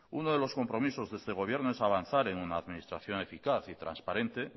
uno de los compromisos de este gobierno es avanzar en una administración eficaz y transparente